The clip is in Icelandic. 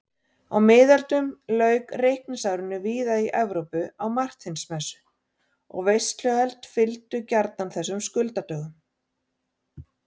Á miðöldum lauk reikningsárinu víða í Evrópu á Marteinsmessu og veisluhöld fylgdu gjarnan þessum skuldadögum.